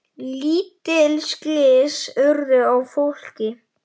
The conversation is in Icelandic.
Lítil slys urðu á fólki.